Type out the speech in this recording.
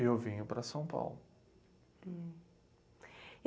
Eu vinha para São Paulo.